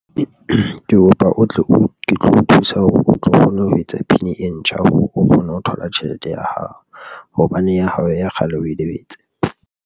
Ke kopa o tle o tlo o thusa hore o tlo kgona ho etsa P_I_N e ntjha, o kgone ho thola tjhelete ya hao hobane ya hao ya kgale o e lebetse.